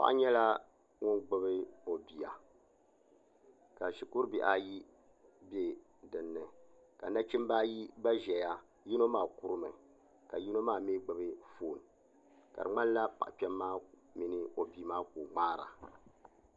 Paɣa nyɛla ŋun gbubi o bia ka shikuru bihi ayi bɛ dinni ka nachimbi ayi gba ʒɛya yino maa kurimi ka yino maa mii gbubi foon ka di ŋmanila paɣa kpɛm maa mini o bia maa ka o ŋmaara